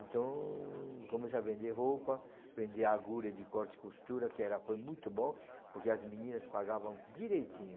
Então, comecei a vender roupa, vender agulha de corte e costura, que foi muito bom, porque as meninas pagavam direitinho.